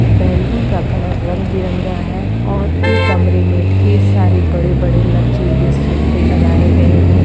Balloon का colour रंग-बिरंगा है और इस कमरे में ढेर सारे बड़े-बड़े लग्जरियस सोफे लगाए गए हैं।